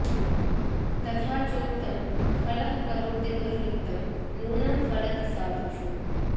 तथा चोक्तम् खलः करोति दुर्वृत्तं नूनं फलति साधुषु